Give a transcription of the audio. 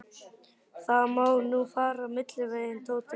Það má nú fara milliveginn, Tóti minn.